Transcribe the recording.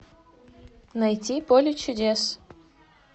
найти поле чудес